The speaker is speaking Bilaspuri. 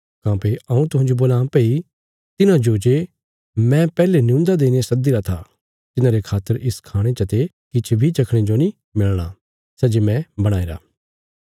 काँह्भई हऊँ तुहांजो बोलां भई तिन्हांजो जे मैं पैहले नियून्दा देईने सद्दीरा था तिन्हारे खातर इस खाणे चते किछ बी चखणे जो नीं मिलणा सै जे मैं बणाईरा